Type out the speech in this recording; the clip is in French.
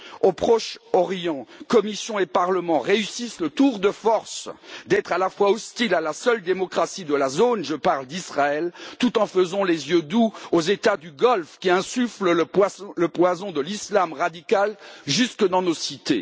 Au Proche Orient, Commission et Parlement réussissent le tour de force d'être à la fois hostiles à la seule démocratie de la zone je parle d'Israël tout en faisant les yeux doux aux États du Golfe qui insufflent le poison de l'islam radical jusque dans nos cités.